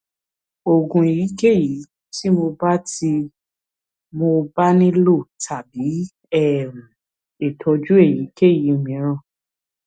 oògùn èyíkéyìí tí mo bá tí mo bá nílò tàbí um ìtọjú èyíkéyìí mìíràn